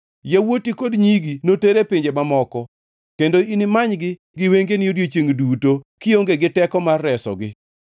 Yawuoti kod nyigi noter e pinje mamoko, kendo inimanygi gi wengeni odiechiengʼ duto kionge gi teko mar resogi.